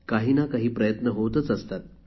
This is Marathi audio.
काहीनाकाही प्रयत्न होतच असतात